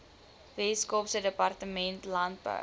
weskaapse departement landbou